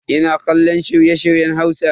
Ina kallon shirye-shiryen Hausa.